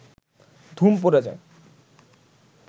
ধুম পড়ে যায়